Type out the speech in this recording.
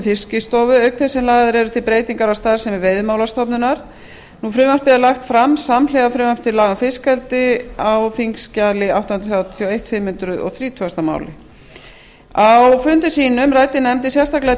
fiskistofu auk þess sem lagðar eru til breytingar á starfsemi veiðimálastofnunar frumvarpið er lagt fram samhliða frumvarpi til laga um fiskeldi samanber fimm hundruð þrítugustu mál á þingskjali átta hundruð þrjátíu og eitt á fundum sínum ræddi nefndin sérstaklega